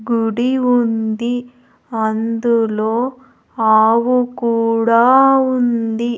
గుడి ఉంది అందులో ఆవు కూడా ఉంది.